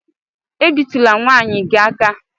E bi tula nwaanyị gi aka!